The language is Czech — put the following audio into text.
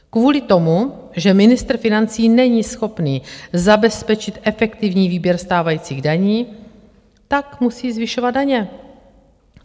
Kvůli tomu, že ministr financí není schopný zabezpečit efektivní výběr stávajících daní, tak musí zvyšovat daně.